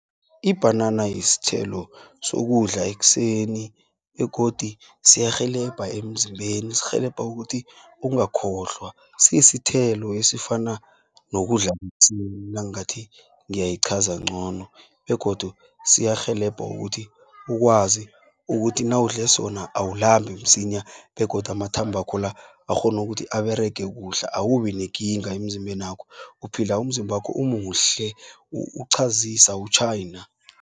Ibhanana yisthelo sokudla ekseni, begodu siyarhelebha emzimbeni. Sirhelebha ukuthi ungakhohlwa. Sisithelo esifana, nokudlamsinya nangathi ngiyayiqhaza ngcono, begodu siyarhelebha ukuthi, ukwazi ukuthi nawudle sona awulambi msinya, begodu amathambakho la, akghonu ukuthi aberege kuhle, awubinekinga emzimbenakho. Uphila umzimbakho umuhle, uqhazisa utjhayina.